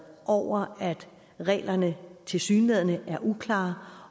over at reglerne tilsyneladende er uklare